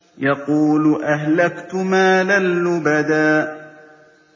يَقُولُ أَهْلَكْتُ مَالًا لُّبَدًا